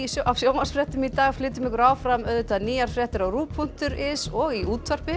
af sjónvarpsfréttum í dag flytjum ykkur áfram nýjar fréttir á punktur is og í útvarpi